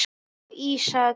og Ísak.